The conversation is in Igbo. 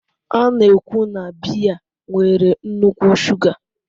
A na-ekwu na biya nwere nnukwu shuga